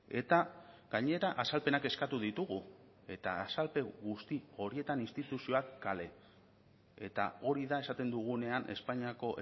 eta gainera azalpenak eskatu ditugu eta azalpen guzti horietan instituzioak kale eta hori da esaten dugunean espainiako